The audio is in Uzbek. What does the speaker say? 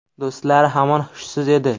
Do‘stlari hamon hushsiz edi.